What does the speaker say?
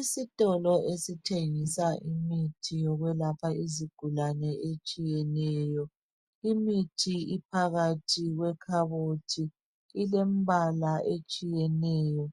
Isitolo esithengisa imithi yokwelapha izigulane etshiyeneyo. Limithi iphakathi kwekhabothi ilembala etshiyeneyo